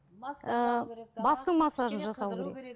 бастың массажын жасау керек